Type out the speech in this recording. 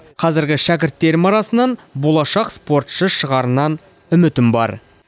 қазіргі шәкірттерім арасынан болашақ спортшы шығарынан үмітім бар